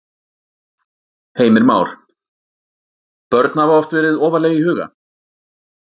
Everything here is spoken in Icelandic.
Heimir Már: Börn hafa oft verið ofarlega í huga?